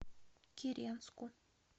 киренску